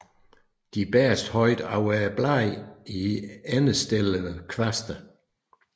De bæres højt over bladene i endestillede kvaste